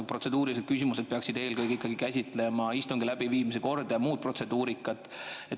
Protseduurilised küsimused peaksid eelkõige käsitlema ikkagi istungi läbiviimise korda ja muud protseduurikat.